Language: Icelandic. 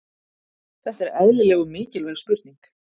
Þetta er eðlileg og mikilvæg spurning.